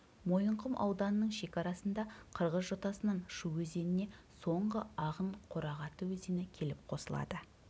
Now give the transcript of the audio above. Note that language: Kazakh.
мойынқұм ауданының шекарасында қырғыз жотасынан шу өзеніне соңғы ағын қорағаты өзені келіп қосылады